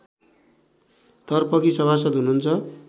तर्फकी सभासद हुनुहुन्छ